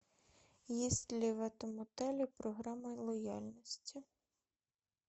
есть ли в этом отеле программа лояльности